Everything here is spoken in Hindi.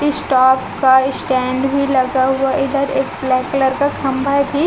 इटॉप का स्टैण्ड भी लगा हुआ है इधर एक ब्लैक कलर का खंभा भी--